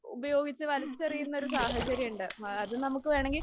ഉപയോഗിച്ച് വലിച്ചെറിയുന്ന ഒരു സാഹചര്യം ഉണ്ട്. അത് നമുക്ക് വേണമെങ്കിൽ